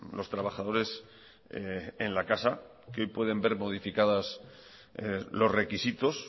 los trabajadores en la casa que hoy pueden ver modificados los requisitos